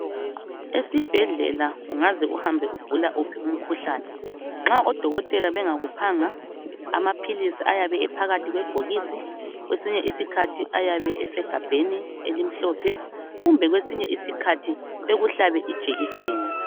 Esibhedlela ungaze uhambe ugula uphi umkhuhlane, nxa odokotela bengakuphanga amaphilisi ayabe ephakathi kwebhokisi, kwesinye isikhathi ayabe esegabheni elimhlophe kumbe kwesinye isikhathi bekuhlabe ijekiseni.